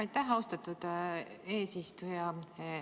Aitäh, austatud eesistuja!